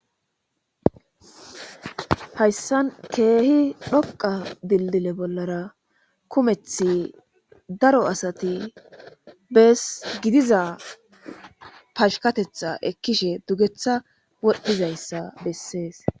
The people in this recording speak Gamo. hayssan keehi dhoqa dildile bollara kumethi daro asati bes gidiza pashkatetha ekkishe dugeththa wodhdhizayssa bessees